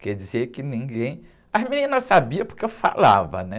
Quer dizer que ninguém... As meninas sabiam porque eu falava, né?